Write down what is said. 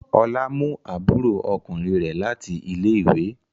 Ọlá mú àbúrò ọkùnrin rẹ̀ láti ilé-ìwé.